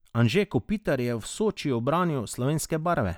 Anže Kopitar je v Sočiju branil slovenske barve.